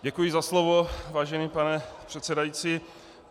Děkuji za slovo, vážený pane předsedající.